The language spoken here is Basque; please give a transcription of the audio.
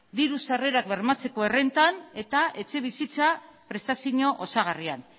diru sarrerak bermatzeko errenta eta etxebizitza prestazio osagarrian